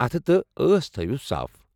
اتھٕ تہِ أس تھأیوو صاف ۔